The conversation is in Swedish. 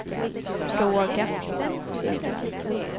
fråga